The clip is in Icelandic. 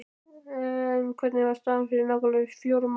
En hvernig var staðan fyrir nákvæmlega fjórum árum?